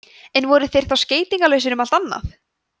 en voru þeir þá skeytingarlausir um allt annað